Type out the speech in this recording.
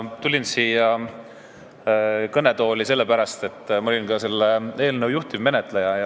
Ma tulin siia kõnetooli sellepärast, et ma olin selle eelnõu juhtivmenetleja.